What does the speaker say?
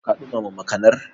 Ka ɗumama makanar?